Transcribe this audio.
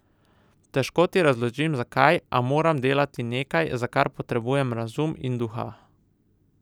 Težko ti razložim, zakaj, a moram delati nekaj, za kar potrebujem razum in duha.